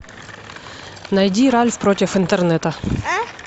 найди ральф против интернета